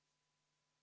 Lugupeetud Riigikogu!